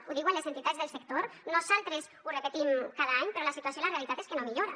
ho diuen les entitats del sector nosaltres ho repetim cada any però la situació i la realitat és que no millora